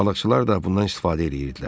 Balıqçılar da bundan istifadə eləyirdilər.